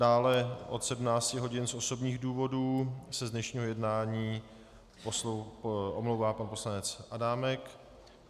Dále od 17 hodin z osobních důvodů se z dnešního jednání omlouvá pan poslanec Adámek.